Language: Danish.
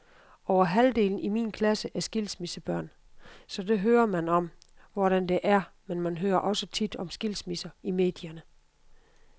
Over halvdelen i min klasse er skilsmissebørn, så der hører man om, hvordan det er, men man hører også tit om skilsmisser i medierne.